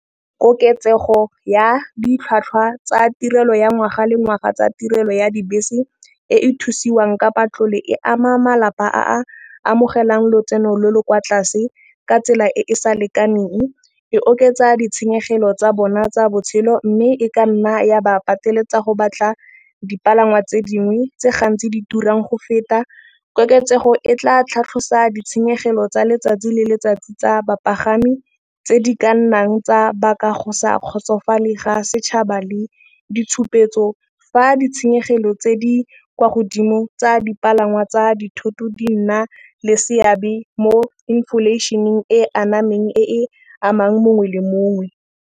Koketsego ya ditlhwatlhwa tsa tirelo ya ngwaga le ngwaga tsa tirelo ya dibese e e thusiwang kapa tlola e ama malapa a amogelang lotseno lo lo kwa tlase ka tsela e sa lekaneng e oketsa ditšhenyegelo tsa bona tsa botšhelo mme e ka nna ya ba pateletsa go batla dipalangwa tse dingwe tse gantsi di turang go feta. Koketsego e tla tlhatlhosiwa ditšhenyegelo tsa letsatsi le letsatsi tsa bapagami tse di ka nnang tsa baka go sa kgotsofalele ga setšhaba le ditshupetso. Fa ditšhenyegelo tse di kwa godimo tsa dipalangwa tsa dithoto di nna le seabe mo inflation-eng e anamang e amang mongwe le mongwe.